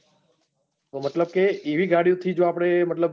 મતલબ કે એવી ગાડિયોથી જો આપડે મતલબ